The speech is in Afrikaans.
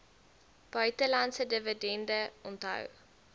buitelandse dividende onthou